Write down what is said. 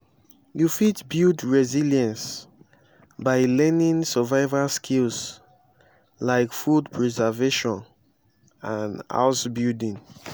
you fit build resilience by learning survival skills like food preservation and house building.